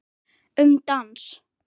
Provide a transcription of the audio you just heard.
Um dans